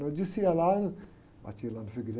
Então eu descia lá, batia lá no frei.